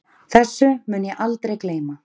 Þessu mun ég aldrei gleyma